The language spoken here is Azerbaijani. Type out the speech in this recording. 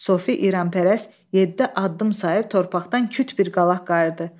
Sofi İranpərəst yeddi addım sayıb torpaqdan küt bir qalaq qayırdı.